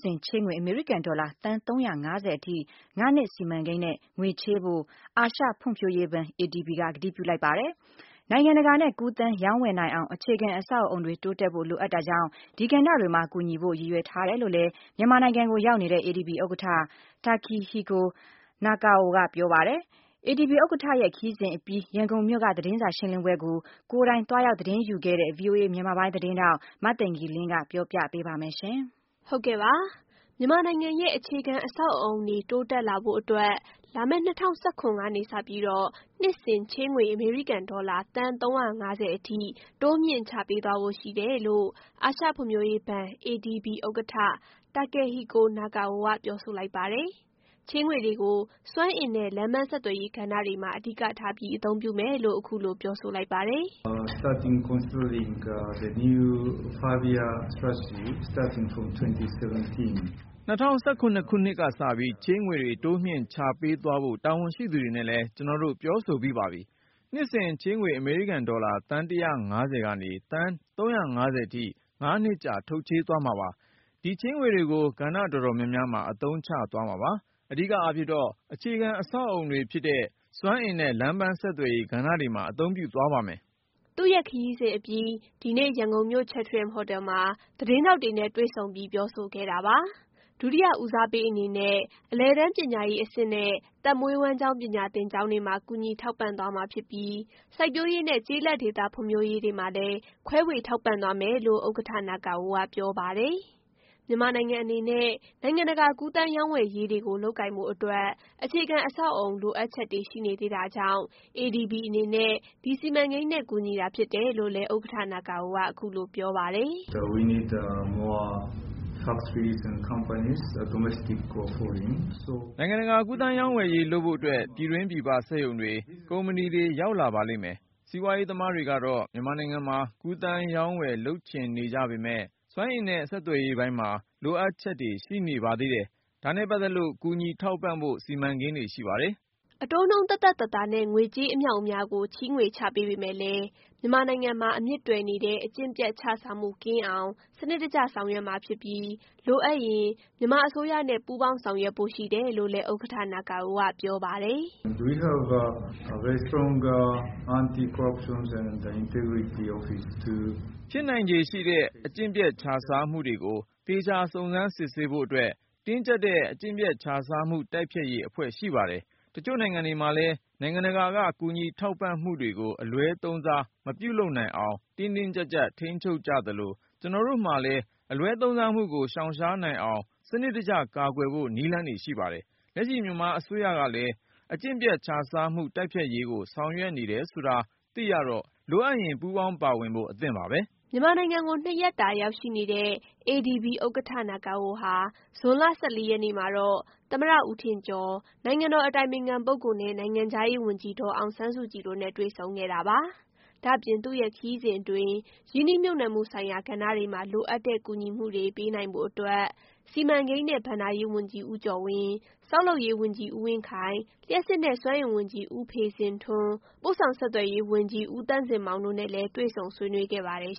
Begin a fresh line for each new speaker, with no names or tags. စဉ် ချေးငွေ အမေရိကန်ဒေါ်လာ သန်း ၃၅၀ အထိ ငါးနှစ်စီမံကိန်းနဲ့ ချေးငွေချပေးသွားမယ်လို့ ADB ဥက္ကဌ Takehiko Nakao က ပြောဆိုလိုက်ပါတယ်။ မြန်မာနိုင်ငံကိုရောက်ရှိနေတဲ့ ADB ဥက္ကဌဟာ နိုင်ငံတကာ ကူးသန်းရောင်းဝယ်ရေး လုပ်ကိုင်နိုင်ဖို့အတွက် အခြေခံအဆောက်အအုံတွေ တိုးတက်ဖို့လိုအပ်တာကြောင့် ဒီကဏ္ဍတွေမှာ ကူညီတာဖြစ်တယ် လို့လည်း ပြောပါတယ်။ သူ့ရဲ့ ခရီးစဉ်အပြီး သတင်းစာရှင်းလင်းပွဲကို ကိုယ်တိုင်သွားရောက် သတင်းယူခဲ့တဲ့ VOA သတင်းထောက် မသိင်္ဂ ီလင်းက ပြောပြပေးပါမယ်။ မ
ြန်မာနိုင်ငံရဲ့ အခြေခံအဆောက်အအုံတွေ တိုးတက်လာဖို့အတွက် လာမယ့် ၂၀၁၇ ခုနှစ်ကနေစပြီးတော့ နှစ်စဉ် ချေးငွေ အမေရိကန်ဒေါ်လာ သန်း ၃၅၀ အထိ တိုးမြှင့် ချပေးသွားဖို့ရှိတယ်လို့ အာရှဖွံ့ဖြိုးရေးဘဏ် ADB ဥက္ကဌ Takehiko Nakao က ပြောဆိုလိုက်ပါတယ်။ ချေးငွေတွေကို စွမ်းအင်နဲ့ လမ်းပန်း ဆက်သွယ်ရေးကဏ္ဍတွေမှာ အဓိကထားပြီး အသုံးပြုမယ်လို့ အခုလို ပြောဆိုလိုက်ပါတယ်။
“၂၀၁
၇ ခုနှစ်ကစပြီး ချေးငွေတွေ တိုးမြှင့်ချပေးသွားဖို့ တာဝန်ရှိသူတွေနဲ့လည်း ကျွန်တော်တို့ ပြောဆိုပြီးပါပြီ။ နှစ်စဉ်ချေးငွေ အမေရိကန်ဒေါ်လာ သန်း ၁၅၀ကနေ သန်း ၃၅၀ အထိ ငါးနှစ်ကြာ ထုတ်ချေးသွားမှာပါ။ ဒီချေးငွေတွေကို ကဏ္ဍတော်တော်များများမှာ အသုံးချသွားမှာပါ။ အဓိကအားဖြင့်တော့ အခြေခံအဆောက်အအုံတွေဖြစ်တဲ့ စွမ်းအင်နဲ့ လမ်းပန်းဆက်သွယ်ရေးကဏ္ဍတွေမှာ အသုံးပြုသွားပါမယ်။
” သူ့ရဲ့ ခရီးစဉ်အပြီး ဒီနေ့ ရန်ကုန်မြို့ Chatrium ဟိုတယ်မှာ သတင်းထောက်တွေ နဲ့ တွေ့ဆုံပြီးပြောဆိုခဲ့တာပါ။ ဒုတိယ ဦးစားပေးအနေနဲ့ အလယ်တန်းပညာအဆင့်နဲ့ အသက်မွေးဝမ်းကျောင်း ပညာသင်ကျောင်းတွေမှာ ကူညီထောက်ပံ့သွားမှာဖြစ်ပြီး စိုက်ပျိုးရေး နဲ့ ကျေးလက်ဒေသ ဖွံ့ဖြိုးရေးတွေမှာလည်း ခွဲဝေထောက်ပံ့သွားမယ်လို့ ဥက္ကဌ Nakao က ပြောပါတယ်။ မြန်မာနိုင်ငံအနေနဲ့ နိုင်ငံတကာကူးသန်းရောင်းဝယ်ရေးတွေ လုပ်ကိုင်ဖို့အတွက် အခြေခံအဆောက်အအုံ လိုအပ်ချက်တွေရှိနေသေးတာကြောင့် ADB အနေနဲ့ ဒီစီမံကိန်းနဲ့ ကူညီတာဖြစ်တယ်လို့လည်း ဥက္ကဌ Nakao က အခုလို ပြောပါတယ်။
“နိုင်ငံတကာကူးသန်းရောင်းဝယ်ရေးလုပ်ဖို့အတွက် ပြည်တွင်း၊ပြည်ပ စက်ရုံတွေ၊ ကုမ္ပဏီတွေ ရောက်လာပါလိမ့်မယ်။ စီးပွားရေးသမားတွေကတော့ မြန်မာနိုင်ငံမှာ ကူးသန်းရောင်းဝယ်လုပ်ချင်နေကြပေမယ့် စွမ်းအင်နဲ့ ဆက်သွယ်ရေးပိုင်းမှာ လိုအပ်ချက်တွေရှိနေပါသေးတယ်။ ဒါနဲ့ ပတ်သက်လို့ ကူညီထောက်ပံ့ဖို့ စီမံကိန်းတွေရှိပါတယ်။
” အတိုးနှုန်းသက်သက်သာသာနဲ့ ငွေကြေးအမြောက်အမြားကို ချေးငွေချပေးပေမယ့်လည်း မြန်မာနိုင်ငံမှာ အမြစ်တွယ်နေတဲ့ အကျင့်ပျက်ခြစားမှုကင်းအောင် စနစ်တကျဆောင်ရွက်မှာဖြစ်ပြီး လိုအပ်ရင် မြန်မာအစိုးရနဲ့ ပူးပေါင်းဆောင်ရွက်ဖို့ရှိတယ်လို့လည်း ဥက္ကဌ Nakao က ပြောပါတယ်။ “
ဖြစ်နိုင်ခြေရှိတဲ့ အကျင့်ပျက်ခြစားမှုတွေကို သေချာစုံစမ်းစစ်ဆေးဖို့အတွက် တင်းကြပ်တဲ့ အကျင့်ပျက်ခြစားမှုတိုက်ဖျက်ရေးအဖွဲ့ရှိပါတယ်။ တချို့နိုင်ငံတွေမှာလည်း နိုင်ငံတကာက ကူညီထောက်ပံ့မှုတွေကို အလွဲသုံးစားမပြုလုပ်နိုင်အောင် တင်းတင်းကြပ်ကြပ် ချုပ်ကိုင်ကြသလို ကျွန်တော်တို့မှာလည်း အလွဲသုံးစားမှုကို ရှောင်ရှားနိုင်အောင် စနစ်တကျကာကွယ်ဖို့ နည်းလမ်းတွေရှိပါတယ်။ လက်ရှိ မြန်မာအစိုးရကလည်း အကျင့်ပျက်ခြစားမှုတိုက်ဖျက်ရေးကို ဆောင်ရွက်နေတယ်ဆိုတာလည်း သိရတော့ လိုအပ်ရင် ပူးပေါင်းပါဝင်ဖို့ အသင့်ပါပဲ။”
မြန်မာနိုင်ငံကို ၂ ရက်တာရောက်ရှိနေတဲ့ ADB ဥက္ကဌ Nakao ဟာ ဇွန်လ ၁၄ ရက်နေ့မှာတော့ သမ္မတဦးထင်ကျော်၊ နိုင်ငံတော် အတိုင်ပင်ခံ ပုဂ္ဂိုလ် နဲ့ နိုင်ငံခြားရေး ဝန်ကြီးဒေါ်အောင်ဆန်းစုကြည်တို့နဲ့ တွေ့ဆုံခဲ့တာပါ။ ဒါ့အပြင် သူ့ရဲ့ ခရီးစဉ်အတွင်း ရင်းနှီးမြှုပ်နှံမှုဆိုင်ရာ ကဏ္ဍတွေမှာ လိုအပ်တဲ့ ကူညီမှုတွေ ပေးနိုင်ဖို့ အတွက် စီမံကိန်းနဲ့ ဘဏ္ဍာရေးဝန်ကြီး ဦးကျော်ဝင်း၊ ဆောက်လုပ်ရေးဝန်ကြီး ဦးဝင်းခိုင်၊ လျှပ်စစ်နဲ့ စွမ်းအင်ဝန်ကြီး ဦးဖေဇင်ထွန်း၊ ပို့ဆောင်ဆက်သွယ်ရေးဝန်ကြီး ဦးသန့်ဇင်မောင်တို့နဲ့လည်း တွေ့ဆုံဆွေးနွေးခဲ့ပါတယ်